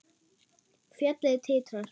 Fjallið titrar.